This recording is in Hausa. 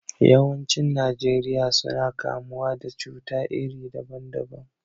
Yawancin Najeriya suna kamuwa da cuta iri daban daban.